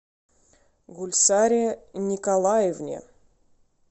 гульсаре николаевне